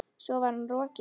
Svo var hann rokinn.